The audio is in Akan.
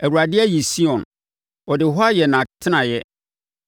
Awurade ayi Sion, ɔde hɔ ayɛ nʼatenaeɛ: